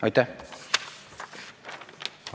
Aitäh!